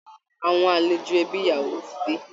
Àwọn àlejò ẹbi ìyàwó ti dé